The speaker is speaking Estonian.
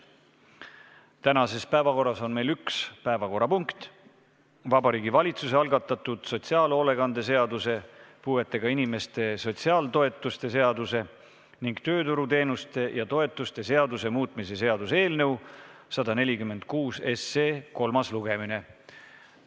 Tänases päevakorras on meil üks punkt: Vabariigi Valitsuse algatatud sotsiaalhoolekande seaduse, puuetega inimeste sotsiaaltoetuste seaduse ning tööturuteenuste ja -toetuste seaduse muutmise seaduse eelnõu 146 kolmas lugemine.